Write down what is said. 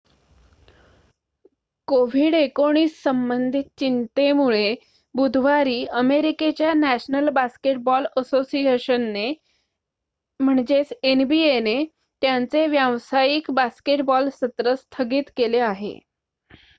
COVID-19 संबंधित चिंतेमुळे बुधवारी अमेरिकेच्या नॅशनल बास्केटबॉल असोसिएशनने एनबीए त्यांचे व्यावसायिक बास्केटबॉल सत्र स्थगित केले आहे